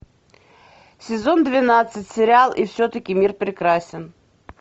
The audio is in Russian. сезон двенадцать сериал и все таки мир прекрасен